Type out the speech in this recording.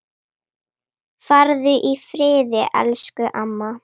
Farðu í friði, elsku amma.